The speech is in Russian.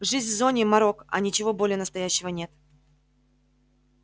жизнь в зоне морок а ничего более настоящего нет